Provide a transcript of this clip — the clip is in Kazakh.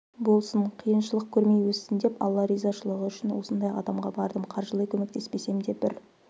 болсын қиыншылық көрмей өссін деп алла ризашылығы үшін осындай қадамға бардым қаржылай көмектеспесем де бір